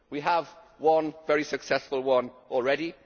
We have one very successful one already.